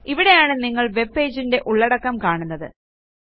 ഇവിടെയാണ് നിങ്ങൾ webpageന്റെ ഉള്ളടക്കം കാണുന്നത്